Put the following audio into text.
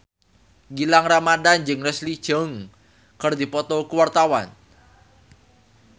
Gilang Ramadan jeung Leslie Cheung keur dipoto ku wartawan